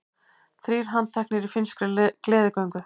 Þrír handteknir í finnskri gleðigöngu